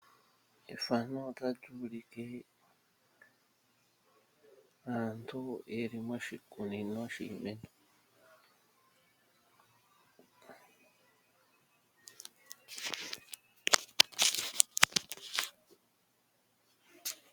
Efano otalyu ulike aantu yeli moshikunino shiimeno.